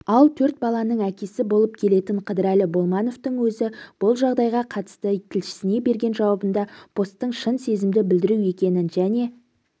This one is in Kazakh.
ал төрт баланың әкесі болып келетін қыдырәлі болмановтың өзі бұл жағдайға қатысты тілшісіне берген жауабында посттың шын сезімді білдіру екенін және